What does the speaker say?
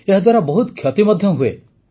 ଏହାଦ୍ୱାରା ବହୁତ କ୍ଷତି ମଧ୍ୟ ହୁଏ